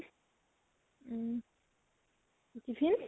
উম tiffin?